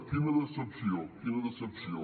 quina decepció quina decepció